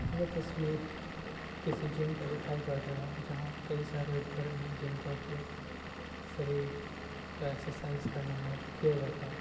यह तस्वीर किसी जिम का दिखाई पड़ता है जहाँ कई सारे उपकरण है जिनका उपयोग शरीर का एक्सरसाइज करने में किया जाता है।